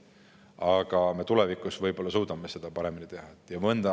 Aga tulevikus me võib-olla suudame seda paremini teha.